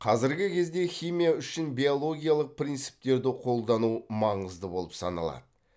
қазіргі кезде химия үшін биологиялық принциптерді қолдану маңызды болып саналады